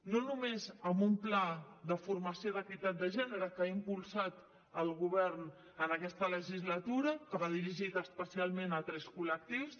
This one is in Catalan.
no només amb un pla de formació d’equitat de gènere que ha impulsat el govern en aquesta legislatura que va dirigit especialment a tres col·lectius